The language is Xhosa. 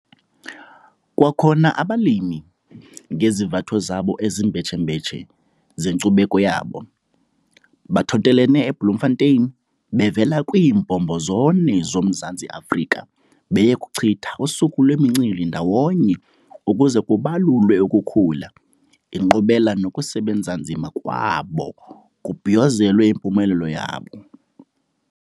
Kwakhona abalimi, ngezivatho zabo ezimbetshembetshe zenkcubeko yabo, bathontelene eBloemfontein bevela kwiimbombo zone zoMzantsi Afrika beye kuchitha usuku lwemincili ndawonye ukuze kubalulwe ukukhula, inkqubela nokusebenza nzima kwabo kubhiyozelwe impumelelo yabo.